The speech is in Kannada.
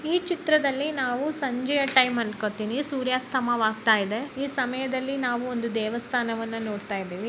ಈ ಚಿತ್ರದಲ್ಲಿ ನಾವು ಸಂಜೆಯ ಟೈಮ್ ಅನ್ಕೊಂತೀವಿ ಸೂರ್ಯಸ್ತಮವಾಗುತ್ತಿದೆ ಈ ಸಮಯದಲ್ಲಿ ನಾವು ದೇವಸ್ಥಾನವನ್ನು ನೋಡ್ತಾ ಇದ್ದೀವಿ.